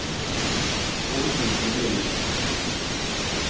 Åsmund Korneliussen